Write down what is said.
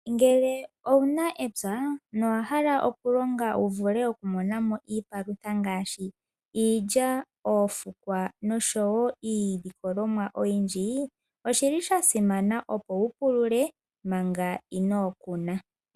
Ngele owu na epya nowa hala okulonga wu vule okumona mo iipalutha ngaashi iilya, oofukwa nosho wo iilikolomwa oyindji, oshi li sha simana opo wu pulule manga inoo kuna.